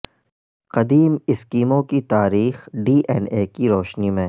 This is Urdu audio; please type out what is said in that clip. قدیم ایسکیمو کی تاریخ ڈی این اے کی روشنی میں